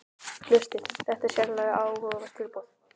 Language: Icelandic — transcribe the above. Hlustið: þetta er sérlega áhugavert tilboð